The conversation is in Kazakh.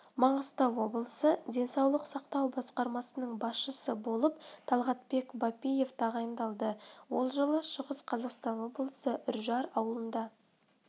маңғыстау облысы денсаулық сақтау басқармасының басшысы болып талғатбек бапиев тағайындалды ол жылы шығыс-қазақстан облысы үржар ауылында